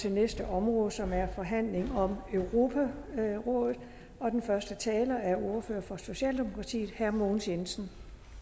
til næste område som er forhandling om europarådet og den første taler er ordføreren for socialdemokratiet herre mogens jensen